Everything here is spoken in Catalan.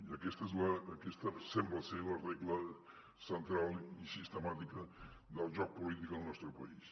i aquesta sembla ser la regla central i sistemàtica del joc polític al nostre país